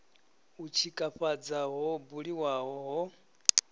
u tshikafhadza ho buliwaho ho